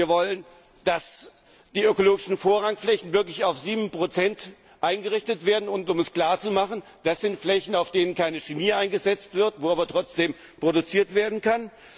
Wir wollen, dass die ökologischen Vorrangflächen wirklich auf 7 eingerichtet werden, und um es klar zu machen, das sind Flächen, auf denen keine Chemie eingesetzt wird, wo aber trotzdem produziert werden kann.